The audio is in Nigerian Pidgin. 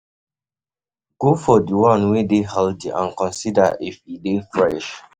go for di one wey dey healthy and consider if e dey fresh